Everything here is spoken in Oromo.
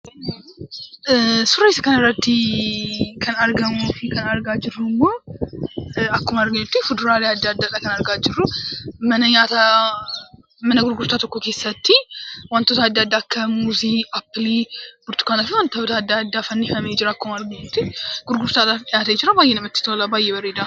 Suuraa kanarratti kan argamuu fi kan argaa jirru immo, akkuma arginutti fuduraalee adda addaadha kan argaa jirru. Mana nyaata, Mana gurgurtaa tokko keessatti wantoota adda addaa akka muuzii, appilii, burtukaanaa fi wantoota adda, addaatu fannifamee jira akkuma arginutti. gurgurtaadhaf dhi'aate jira. baay'ee namatti tola, baay'ee bareeda.